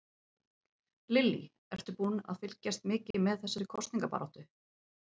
Lillý: Ertu búinn að fylgjast mikið með þessari kosningabaráttu?